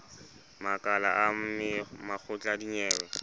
makala a makgotla a dinyewe